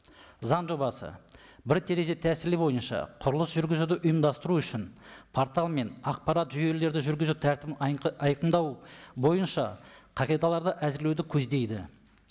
заң жобасы бір терезе тәсілі бойынша құрылыс жүргізуді ұйымдастыру үшін портал мен ақпарат жүйелерді жүргізу тәртібін айқындау бойынша қағидаларды әзірлеуді көздейді